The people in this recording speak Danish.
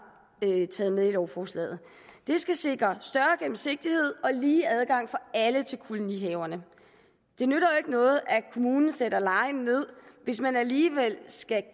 taget med i lovforslaget det skal sikre større gennemsigtighed og lige adgang for alle til kolonihaverne det nytter jo ikke noget at kommunen sætter lejen ned hvis man alligevel skal